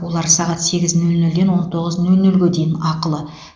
олар сағат сегіз нөл нөлден он тоғыз нөл нөлге дейін ақылы